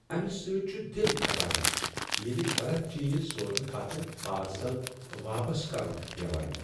امہ سۭتۍ چھُ دل پھٹان ییٚلہ غلط چیز سوزنہ پتہ پارسل واپس کرُن چھُ پیوان۔